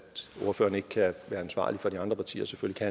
ordførerne ikke kan være ansvarlig for de andre partier selvfølgelig